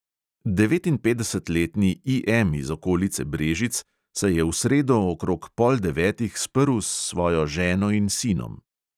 Devetinpetdesetletni E M iz okolice brežic se je v sredo okrog pol devetih sprl s svojo ženo in sinom.